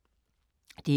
DR2